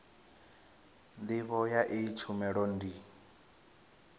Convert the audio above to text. ndivho ya iyi tshumelo ndi